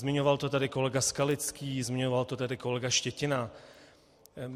Zmiňoval to tady kolega Skalický, zmiňoval to tady kolega Štětina.